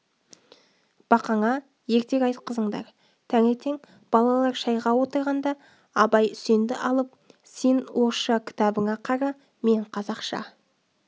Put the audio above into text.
бақаңа ертек айтқызыңдар таңертең балалар шайға отырғанда абай үсенді алып сен орысша кітабыңа қара мен қазақша